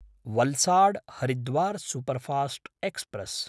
वल्साड्–हरिद्वार् superfast express